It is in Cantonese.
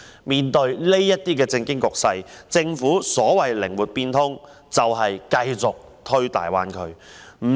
在這種政經局勢下，政府所謂的"靈活變通"，就是繼續推動大灣區的發展。